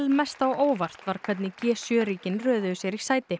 mest á óvart var hvernig g sjö ríkin röðuðu sér í sæti